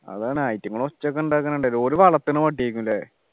അതാണ് ഐറ്റുങ്ങളെ ഒച്ചയൊക്കെ ഉണ്ടാക്കുന്നുണ്ട് ഓര് വളത്തുണ പട്ടിയായിരിക്കും ല്ലേ